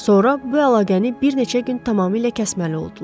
Sonra bu əlaqəni bir neçə gün tamamilə kəsməli oldular.